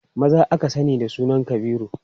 Maza aka sani da sunan Kabiru.